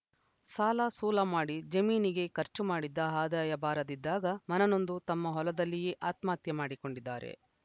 ಸಾಲಸೂಲ ಮಾಡಿ ಜಮೀನಿಗೆ ಖರ್ಚು ಮಾಡಿದ್ದ ಆದಾಯ ಬಾರದಿದ್ದಾಗ ಮನನೊಂದು ತಮ್ಮ ಹೊಲದಲ್ಲಿಯೇ ಆತ್ಮಹತ್ಯೆ ಮಾಡಿಕೊಂಡಿದ್ದಾರೆ